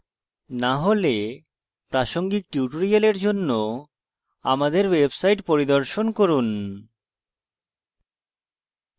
না হলে প্রাসঙ্গিক tutorial জন্য আমাদের website পরিদর্শন করুন